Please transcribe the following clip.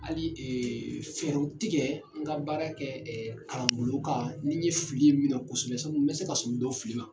Hali ɛɛ fɛrɛw tigɛ n ka baara kɛ ɛɛ kalan bolow kan ni ye fili ye min na kosɛbɛ , n be se ka sun dɔw fili ma.